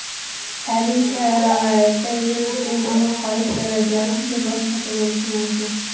Tabiiy sharoitda virusning omon qolish darajasi boshqacha bo‘lishi mumkin.